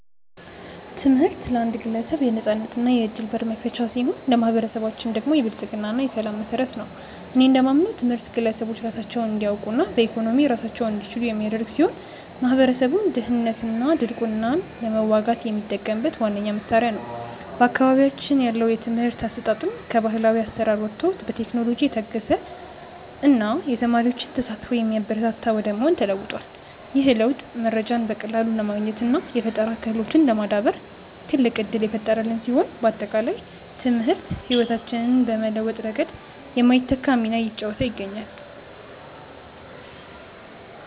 ትምህርት ለአንድ ግለሰብ የነፃነትና የዕድል በር መክፈቻ ሲሆን፣ ለማኅበረሰባችን ደግሞ የብልጽግና እና የሰላም መሠረት ነው። እኔ እንደማምነው ትምህርት ግለሰቦች ራሳቸውን እንዲያውቁና በኢኮኖሚ ራሳቸውን እንዲችሉ የሚያደርግ ሲሆን፣ ማኅበረሰቡም ድህነትንና ድንቁርናን ለመዋጋት የሚጠቀምበት ዋነኛው መሣሪያ ነው። በአካባቢያችን ያለው የትምህርት አሰጣጥም ከባሕላዊ አሠራር ወጥቶ በቴክኖሎጂ የታገዘና የተማሪዎችን ተሳትፎ የሚያበረታታ ወደ መሆን ተለውጧል። ይህ ለውጥ መረጃን በቀላሉ ለማግኘትና የፈጠራ ክህሎትን ለማዳበር ትልቅ ዕድል የፈጠረልን ሲሆን፣ ባጠቃላይ ትምህርት ሕይወታችንን በመለወጥ ረገድ የማይተካ ሚና እየተጫወተ ይገኛል።